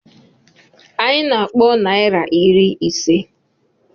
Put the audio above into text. Anyị na-akpọ naira iri ise.